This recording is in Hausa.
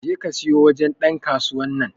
je ka siyo wajen Dan kasuwan nan.